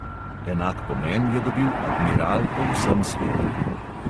Enak pomen je dobil admiral po vsem svetu.